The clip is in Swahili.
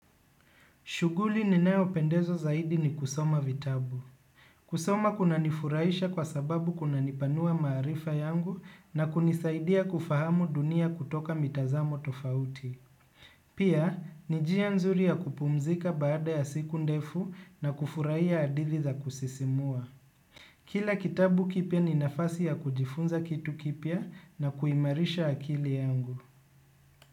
Shughuli ninayopendezwa zaidi ni kusoma vitabu. Kusoma kunanifurahisha kwa sababu kunanipanua maarifa yangu na kunisaidia kufahamu dunia kutoka mitazamo tofauti. Pia, ni njia nzuri ya kupumzika baada ya siku ndefu na kufurahia hadithi za kusisimua. Kila kitabu kipya ni nafasi ya kujifunza kitu kipya na kuimarisha akili yangu.